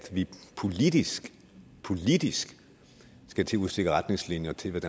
vi politisk politisk skal til at udstikke retningslinjer til hvad